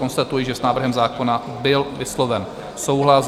Konstatuji, že s návrhem zákona byl vysloven souhlas.